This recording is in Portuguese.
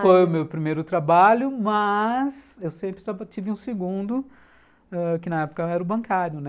Foi o meu primeiro trabalho, mas eu sempre tive um segundo, que na época eu era o ãh bancário, né?